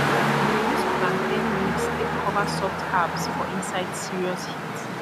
we dey use plantain leaves take cover soft herbs for inside serious heat